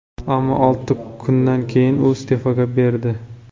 Ammo olti kundan keyin u iste’fo berdi .